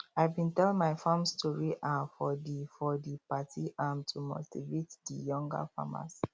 i bin tell my farm story um for di for di party um to motivate di younger farmers